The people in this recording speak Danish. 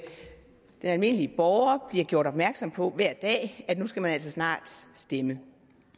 den almindelige borger bliver gjort opmærksom på at nu skal man altså snart stemme